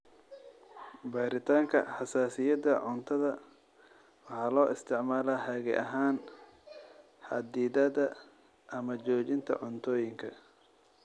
Baaritaanka xasaasiyadda cuntada waxaa loo isticmaalaa hage ahaan xaddidaadda ama joojinta cuntooyinka.